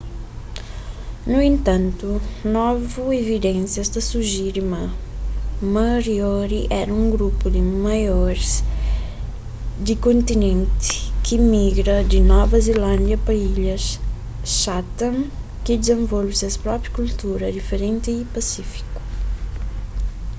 nu entantu novu evidensias ta sujere ma moriori éra un grupu di maoris di kontinenti ki migra di nova zelándia pa ilhas chatham ki dizenvolve ses própi kultura diferenti y pasífiku